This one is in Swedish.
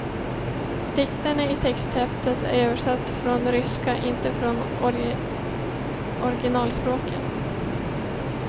Dikterna i texthäftet är översatta från ryska, inte från originalspråken.